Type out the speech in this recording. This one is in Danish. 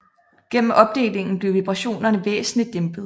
Gennem opdelingen blev vibrationerne væsentligt dæmpet